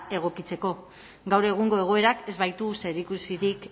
egokitzeko gaur egungo egoerak ez baitu zerikusirik